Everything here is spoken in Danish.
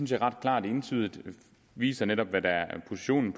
de ret klart og entydigt viser hvad der var positionen